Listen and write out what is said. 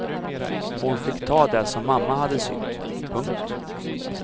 Hon fick ta det som mamma hade sytt. punkt